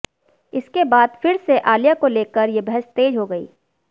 इसके बाद फिर से आलिया को लेकर ये बहस तेज हो गई